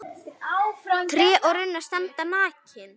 Tré og runnar standa nakin.